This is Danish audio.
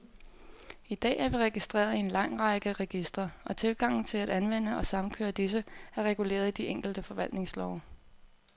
I dag er vi registreret i en lang række registre, og tilgangen til at anvende og samkøre disse, er reguleret i de enkelte forvaltningslove.